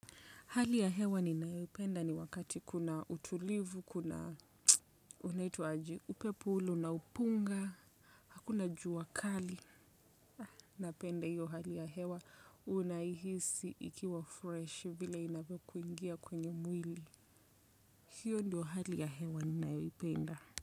Hali ya hewa ninayoipenda ni wakati kuna utulivu, kuna unaitwa aje upepo ule, unaopunga, hakuna jua kali. Napenda hiyo hali ya hewa unaihisi ikiwa fresh vile inavyo kuingia kwenye mwili. Hiyo ndio hali ya hewa ninayoipenda.